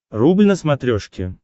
рубль на смотрешке